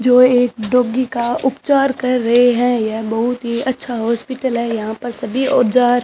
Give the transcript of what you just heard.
जो एक डॉगी का उपचार कर रहे है यह बहोत ही अच्छा हॉस्पिटल है यहां पर सभी औजार --